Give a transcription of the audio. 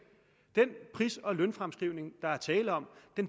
den pris og lønfremskrivning der er tale om